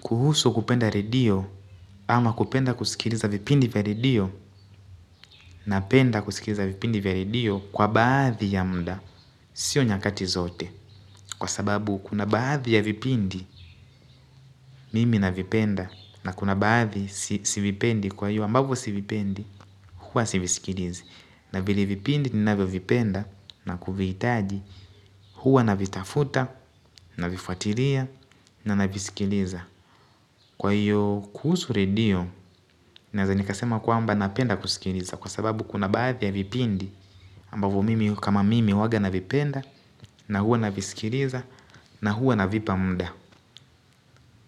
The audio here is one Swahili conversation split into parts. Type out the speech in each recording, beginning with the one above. Kuhusu kupenda radio ama kupenda kusikiliza vipindi vya redio, napenda kusikiliza vipindo vya redio kwa baadhi ya muda. Sio nyakati zote kwa sababu kuna baadhi ya vipindi mimi navipenda na kuna baadhi si vipendi kwa iyo ambavyo sivipendi huwa siviskilizi. Na vile vipindi ninavyovipenda na kuvihitaji huwa navitafuta navifuatilia naviskiza. Kwa hiyo kuhusu redio, naeza nikasema kwamba napenda kusikiliza kwa sababu kuna baadhi ya vipindi ambavyo mimi kama mimi huaaga navipenda na huwa nanavisikiliza na hua navipa muda.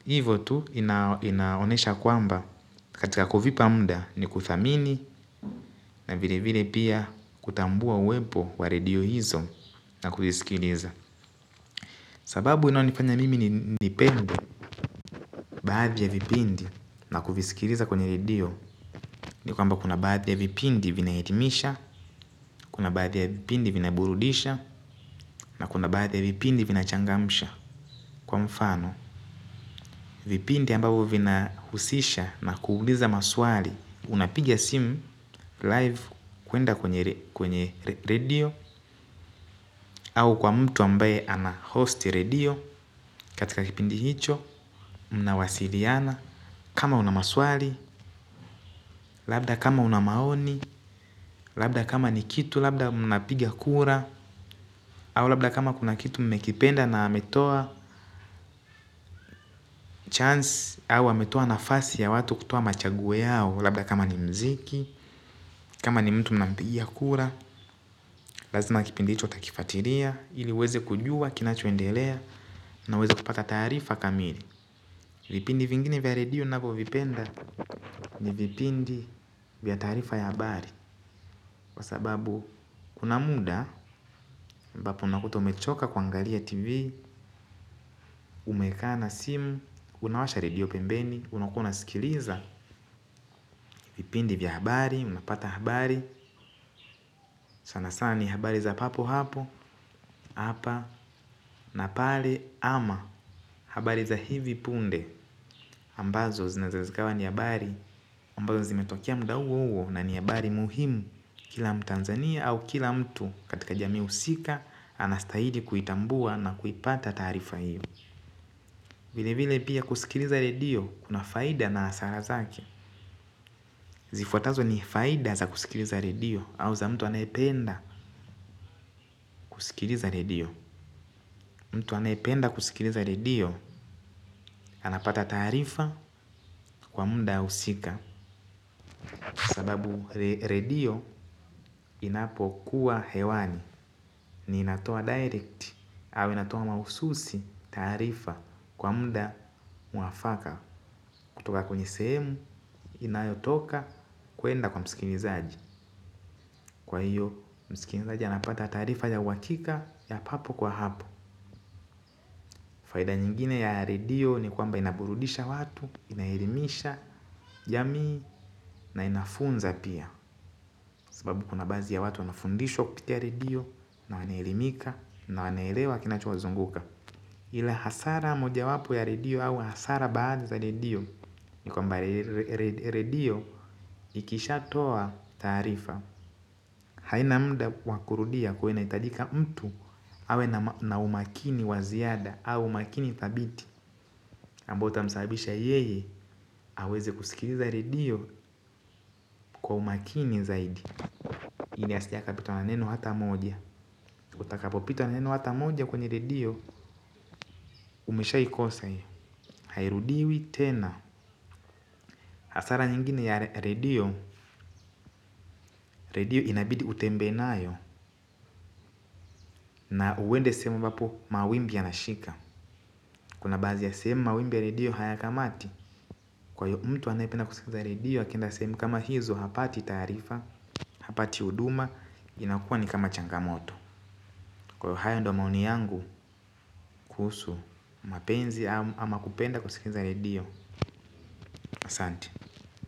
Hivo tu inaonesha kwamba katika kuvipa muda ni kuthamini na vile vile pia kutambua uwempo wa redio hizo na kuvisikiliza. Sababu inayonifanya mimi nipendi baadhi ya vipindi na kuvisikiliza kwenye redio ni kwamba kuna baadhi ya vipindi vinaelimisha, kuna baadhi ya vipindi vinaburudisha na kuna baadhi ya vipindi vinachangamsha. Kwa mfano, vipindi ambabu vinahusisha na kuuliza maswali. Unapigia simu live kwenda kwenye radio. Au kwa mtu ambaye anahost redio katika kipindi hicho. Mnawasiliana. Kama una maswali. Labda kama una maoni. Labda kama ni kitu labda mna pigia kura. Au labda kama kuna kitu mmekipenda na ametoa Chance Awe ametoa nafasi ya watu kutoa machaguo yao. Labda kama ni muziki. Kama ni mtu mnampigia kura. Lazima kipindi hicho utakifuatilia. Ili uweze kujua, kinachoendelea. Na uweze kupata taarifa kamili. Vipindi vingine vya radio ninavyovipenda. Ni vipindi vya taarifa ya habari. Kwa sababu kuna muda ambapo unakuta umechoka kuangalia tv, umekaa na sim, unawasha redio pembeni, unakua unasikiliza, vipindi vya habari, unapata habari, sana sana ni habari za papo hapo, hapa, na pale ama habari za hivi punde. Ambazo zinaweza ikawa ni habari ambazo zimetokea muda huo huo na ni habari muhimu. Kila mtanzania au kila mtu katika jami husika. Anastahili kuitambua na kuipata taarifa hiyo. Vile vile pia kusikiliza redio kuna faida na hasara zake. Zifuatazo ni faida za kusikiliza redio. Au za mtu anayependa kusikiliza redio mtu anayependa kusikiliza redio. Anapata taarifa kwa muda husika. Sababu redio inapokuwa hewani ni inatoa direct au inatoa mahususi taarifa kwa muda mwafaka kutoka kwenye sehemu inayotoka kuenda kwa msikinizaji kwa hiyo msikilizaji anapata taarifa ya uhakika ya papo kwa hapo. Faida nyingine ya radio ni kwamba inaburudisha watu, inaelmisha jamii na inafunza pia. Sababu kuna baadhi ya watu wanafundishwa kupitia redio na wanaelimika na wanaelewa kinachowazunguka. Ila hasara moja wapo ya redio au hasara baada za redio. Ni kwamba redio ikisha toa tarifa haina mda wakurudia kwa hiyo inahitajika mtu awe na umakini wa ziada au umakini dhabiti ambao utamsabisha yeye aweze kusikiliza redio kwa umakini zaidi. Ili asije akapitwa na neno hata moja. Utakapopitwa na neno ata moja kwenye redio umeshaikosa hiyo, hairudiwi tena hasara nyingine ya redio redio inabidi utembee nayo. Na uende sehemu ambapo mawimbi ya nashika. Kuna baadhi ya sehemu mawimbi ya redio hayakamati. Kwayo mtu anapenda kusikiza redio. Akienda sehemu kama hizo hapati taarifa. Hapati huduma. Inakua ni kama changamoto. Kwayo hayo ndo maoni yangu. Kuhusu mapenzi ama kupenda kusikiza redio, asante.